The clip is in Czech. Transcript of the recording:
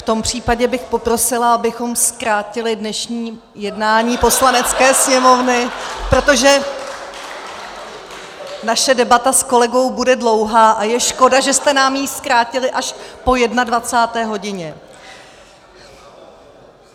V tom případě bych poprosila, abychom zkrátili dnešní jednání Poslanecké sněmovny , protože naše debata s kolegou bude dlouhá a je škoda, že jste nám ji zkrátili až po 21. hodině.